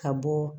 Ka bɔ